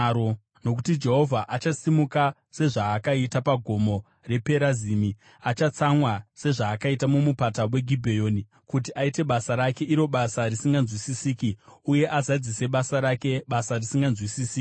Nokuti Jehovha achasimuka sezvaakaita paGomo rePerazimi, achatsamwa sezvaakaita muMupata weGibheoni, kuti aite basa rake, iro basa risinganzwisisiki, uye azadzise basa rake, basa risinganzwisisiki.